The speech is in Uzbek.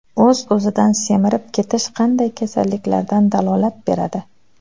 O‘z-o‘zidan semirib ketish qanday kasalliklardan dalolat beradi?.